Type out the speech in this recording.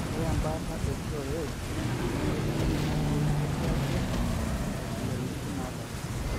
ore mbaata ee TOS nemeji metumoi ketii ake ntabilatin naapasha